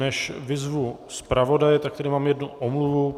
Než vyzvu zpravodaje, tak tady mám jednu omluvu.